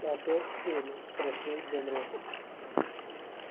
опять семь спросил генри